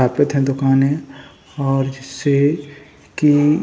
अस्तापित है दुकाने और जिससे की --